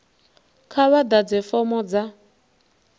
kha vha ḓadze fomo dza